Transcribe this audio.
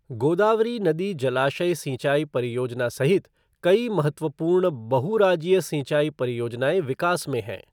गोदावरी नदी जलाशय सिंचाई परियोजना सहित कई महत्वपूर्ण बहु राज्यीय सिंचाई परियोजनाएँ विकास में हैं।